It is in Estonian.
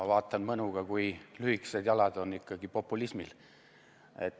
Ma vaatan mõnuga, kui lühikesed jalad on ikkagi populismil.